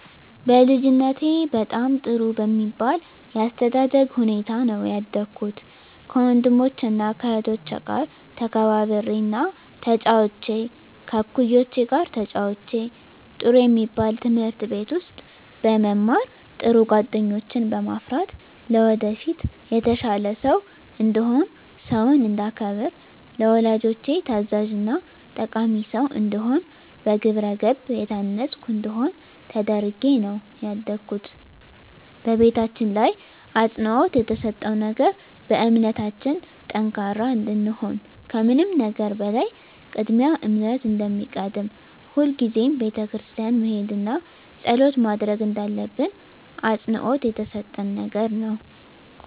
በልጅነቴ በጣም ጥሩ በሚባል የአስተዳደግ ሁኔታ ነው ያደኩት ከወንድሞቸና ከእህቶቸ ጋር ተከባብሬና ተጫውቼ ከእኩዮቼ ጋር ተጫውቼ ጥሩ የሚባል ትምህርት ቤት ውስጥ በመማር ጥሩ ጓደኞችን በማፍራት ለወደፊት የተሻለ ሰው እንድሆን ሰውን እንዳከብር ለወላጆቼ ታዛዥና ጠቃሚ ሰው እንድሆን በግብረገብ የታነፅኩ እንድሆን ተደርጌ ነው ያደኩት በቤታችን ላይ አፅንዖት የተሰጠው ነገር በእምነታችን ጠንካራ እንድንሆን ከምንም ነገር በላይ ቅድሚያ እምነት እንደሚቀድም ሁልጊዜም ቤተክርስቲያን መሄድና ፀሎት ማድረግ እንዳለብን አፅንዖት የተሰጠን ነገር ነው።